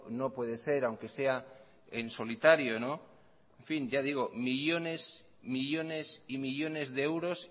no puede ser aunque sea en solitario en fin ya digo millónes millónes y millónes de euros